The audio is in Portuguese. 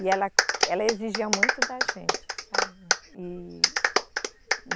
E ela, ela exigia muito da gente, sabe, e.